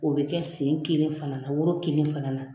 O bɛ kɛ sen kelen fana na woro kelen fana na.